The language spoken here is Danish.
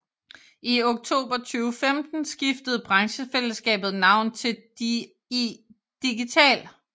I oktober 2015 skiftede branchefællesskabet navn til DI Digital